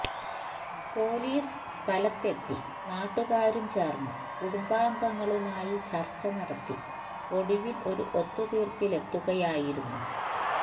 police സ്ഥലത്തെത്തി നാട്ടുകാരും ചേർന്ന് കുടുംബാംഗങ്ങളുമായി ചർച്ച നടത്തി ഒടുവിൽ ഒരു ഒത്തുതീർപ്പിലെത്തുകയായിരുന്നു